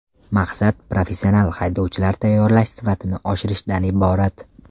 Maqsad professional haydovchilar tayyorlash sifatini oshirishdan iborat.